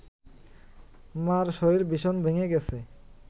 মার শরীর ভীষণ ভেঙে গেছে